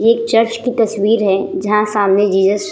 ये एक चर्च की तस्वीर है जहाँ सामने जीजस --